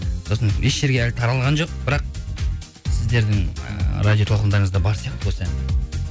сосын еш жәрге әлі таралған жоқ бірақ сіздердің ііі радиотолқындарыңызда бар сияқты осы ән